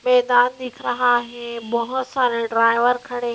मैदान दिख रहा है बहुत सारे ड्राइवर खड़े हैं।